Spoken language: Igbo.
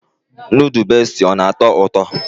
Nudu beesti ọ na-atọ ụtọ?